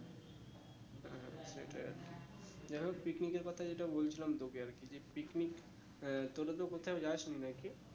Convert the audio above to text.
সেটাই আর কি যাই হোক picnic এর কথা যেটা বলছিলাম তোকে আর কি যে picnic আহ তোরা তো কোথাও যাস নি আর কি